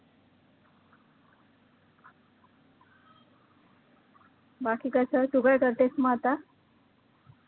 बाकी कसं तु काय करतेस मग आता